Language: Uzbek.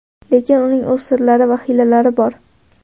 Lekin uning o‘z sirlari va hiylalari bor.